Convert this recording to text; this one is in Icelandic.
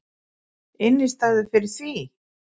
Innistæðu fyrir því!